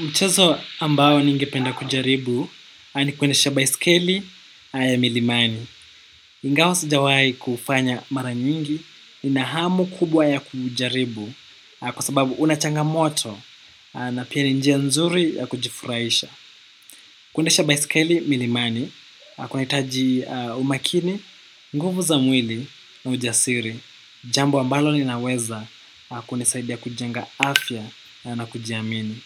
Mchezo ambao ningependa kujaribu ni kuendesha baiskeli aya milimani. Ingawasijawai kufanya mara nyingi nina hamu kubwa ya kujaribu kwa sababu unachanga moto na pia ni njia nzuri ya kujifuraisha. Kuendesha baiskeli milimani kuna itaji umakini, nguvu za mwili na ujasiri. Jambo ambalo ninaweza kuendesaidia kujenga afya na kujiamini.